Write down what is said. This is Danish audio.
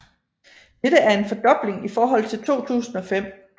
Dette er en fordobling i forhold til 2005